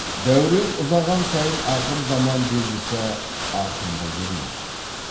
дәурен ұзаған сайын ақыр заман белгісі арқыңдай бермек